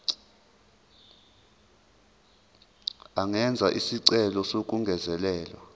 angenza isicelo sokungezelelwa